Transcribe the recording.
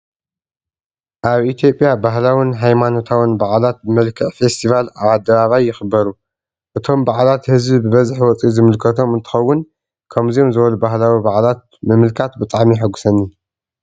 ኣብ ኢትዮጵያ ባህላውን ሃይማኖታውን በዓላት በምልክዕ ፌስቲቫል ኣብ ኣደባባይ ይኽበሩ። እቶም በዓላት ህዝቢ በበዝሒ ወፂኡ ዝምልከቶም እንትኾውን ከምዚኦም ዝበሉ ባህላዊ በዓላት ምምልካት ብጣዕሚ የሓጉሰኒ።